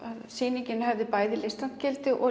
sýningin hefði listrænt gildi og